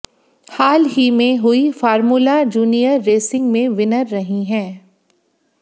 हाल ही में हुई फॉर्मूला जूनियर रेसिंग में विनर रही हैं